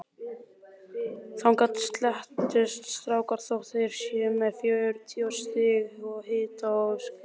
Þangað stelast strákar þótt þeir séu með fjörutíu stiga hita og skarlatssótt.